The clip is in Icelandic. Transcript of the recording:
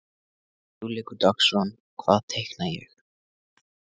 Hugleikur Dagsson: Hvað teikna ég?